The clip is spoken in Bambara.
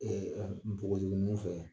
npogotiginunw fɛ